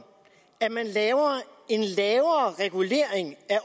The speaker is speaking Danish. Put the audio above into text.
at man laver en lavere regulering af